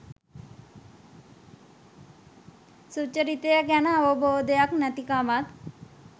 සුචරිතය ගැන අවබෝධයක් නැතිකමත්.